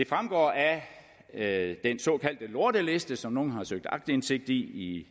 fremgår af den såkaldte lorteliste som nogle har søgt aktindsigt i